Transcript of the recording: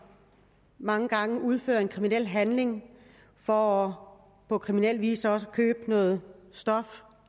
mange gange udfører en kriminel handling for på kriminel vis også at købe noget stof